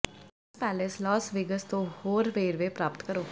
Caesars Palace Las Vegas ਤੇ ਹੋਰ ਵੇਰਵੇ ਪ੍ਰਾਪਤ ਕਰੋ